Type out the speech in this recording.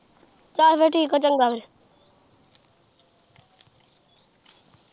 ਚੱਲ ਫਿਰ ਠੀਕ ਆ ਚੰਗਾ ਫੇਰ।